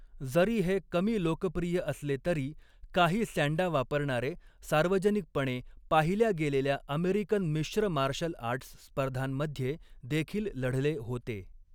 जरी हे कमी लोकप्रिय असले तरी, काही सँडा वापरणारे सार्वजनिकपणे पाहिल्या गेलेल्या अमेरिकन मिश्र मार्शल आर्ट्स स्पर्धांमध्ये देखील लढले होते.